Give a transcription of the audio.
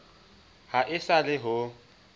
ha e sa le ho